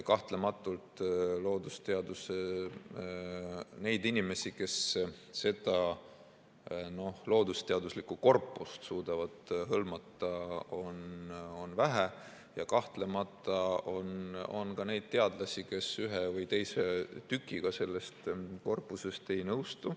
Kahtlematult neid inimesi, kes seda loodusteaduslikku korpust suudavad hõlmata, on vähe ja kahtlemata on ka neid teadlasi, kes ühe või teise tükiga sellest korpusest ei nõustu.